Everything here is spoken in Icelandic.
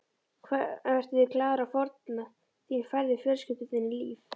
Vertu því glaður að fórn þín færði fjölskyldu þinni líf.